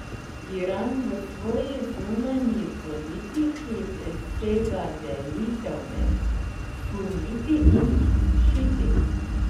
Iran v svoji zunanji politiki presega delitev med suniti in šiiti.